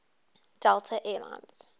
delta air lines